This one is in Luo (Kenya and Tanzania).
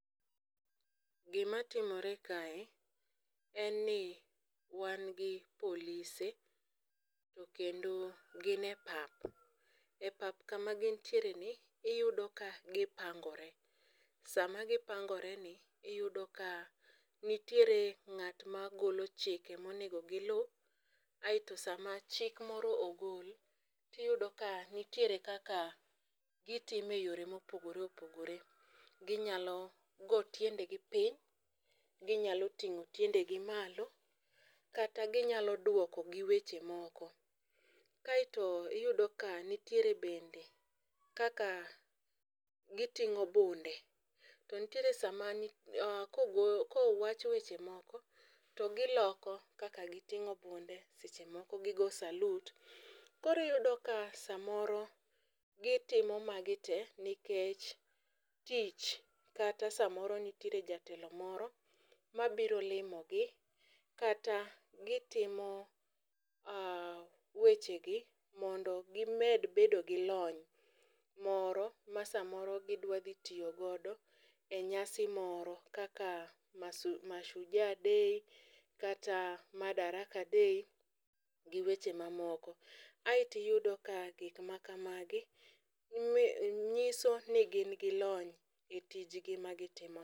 Gima timore kae en ni wan gi polise to kendo gin e pap. E pap kama gintiere ni iyudo ka gipangore. Sama gipangore ni iyudo ka nitiere ng'at ma golo chike monego giluw aeto sama chik moro ogol tiyudo ka nitiere kaka gitime yore mopogore opogore. Ginyalo go tiende gi piny, ginyalo ting'o tiende gi malo kata ginyalo duoko gi weche moko. Kaeto iyudo ka nitiere bende kaka giting'o bunde to ntiere sama kogo kowach weche moko to giloko kaka giting'o bunde seche moko gigo salut . Kori yudo ka samoro gitimo magi te nikech tich kata samoro nitiere jatelo moro mabiro limo gi kata gitimo weche gi mondo gimed bedo gi lony moro ma samoro gidwa dhi tiyo godo e nyasi moro kaka masu mashujaa day kata madaraka day gi weche mamoko. Eeti yudo ka gik ma kamagi nyiso ni gin gi lony e tijgi ma gitimo no.